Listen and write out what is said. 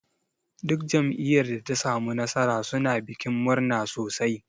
Duk jam'iyyar da ta samu nasara suna bikin murna sosai.